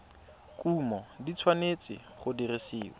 kumo di tshwanetse go dirisiwa